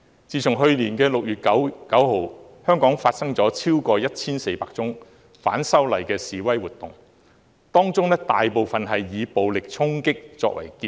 自去年6月9日以來，香港發生了超過 1,400 宗反修例示威活動，當中大部分以暴力衝擊作結。